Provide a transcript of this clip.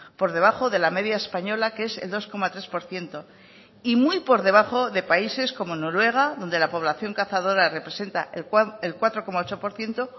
por debajo de la media española que es el dos coma tres por ciento y muy por debajo de países como noruega donde la población cazadora representa el cuatro coma ocho por ciento